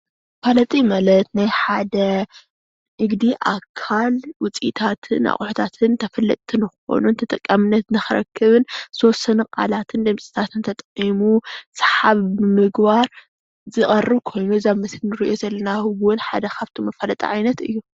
መፍለጢ ማለት ናይ ሓደ ንግዲ ኣካል ውፅኢታትን ኣቁሑታትን መፋለጣ እዩ። ተጠቃምነት ዝኮኑ ንክረክብን ዝተወሰኑ ቃላትን ተሓቢኡ ዝቀርብ ኮይኑ ሓደ ካብቶም መፋለጢ ሓደ እዩ